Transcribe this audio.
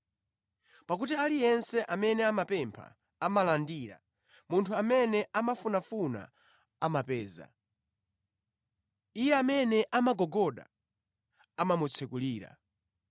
Pakuti aliyense amene amapempha amalandira. Munthu amene amafunafuna amapeza. Iye amene amagogoda amamutsekulira.